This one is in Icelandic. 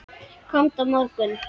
Komdu á morgun.